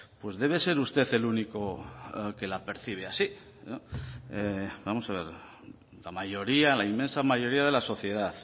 pues debe ser usted el único que la percibe así vamos a ver la mayoría la inmensa mayoría de la sociedad